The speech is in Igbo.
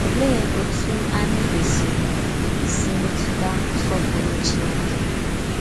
Òlee òtú ányị kwèsìrì ísì mètùtà nsọ̀pùrù Chìnékè?